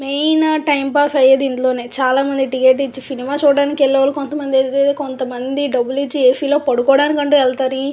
Main time pass అయేది ఇందులోనే చానా మంది టికెట్ ఇచ్చి సినిమా కి వెళ్ళేవాళ్ళు కొంతమంది అయితే కొంతమంది డబ్బులిచ్చి ఏ. సి. పడుకోటానికి అంటూ వెళతారు.